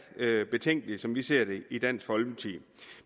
betænkeligt som vi ser det i dansk folkeparti